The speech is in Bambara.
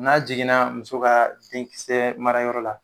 N'a jiginna muso ka den kisɛ marayɔrɔ la